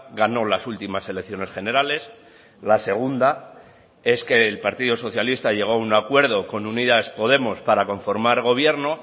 ganó las últimas elecciones generales la segunda es que el partido socialista llegó a un acuerdo con unidas podemos para conformar gobierno